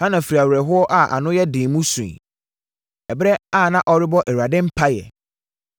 Hana firi awerɛhoɔ a ano yɛ den mu suiɛ, ɛberɛ a na ɔrebɔ Awurade mpaeɛ.